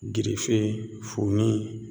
Girife funi